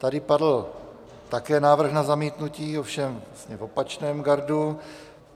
Tady padl také návrh na zamítnutí, ovšem v opačném gardu.